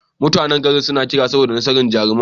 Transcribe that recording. Mutanan gari suna yin kirari saboda nasarar jarumin.